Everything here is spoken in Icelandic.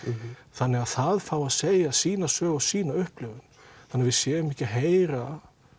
þannig að það fái að segja sína sögu og sína upplifun þannig að við séum ekki að heyra